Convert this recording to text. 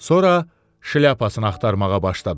Sonra şlyapasını axtarmağa başladı.